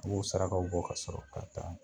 U b'o sarakaw bɔ ka sɔrɔ ka taa